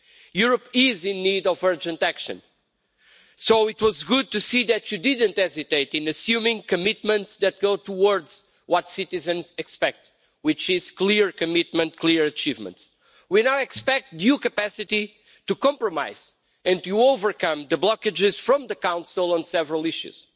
Europe is in need of urgent action. So it was good to see that you didn't hesitate in assuming commitments that go towards what citizens expect, which is clear commitment, clear achievements. We now expect due capacity to compromise and to overcome the blockages from the Council on several issues